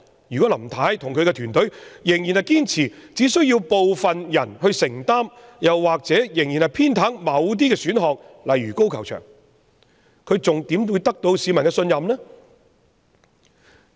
如果林太與其團隊仍然堅持只需要部分人承擔，又或是仍然偏袒某些選項如高球場，她還怎會得到市民的信任呢？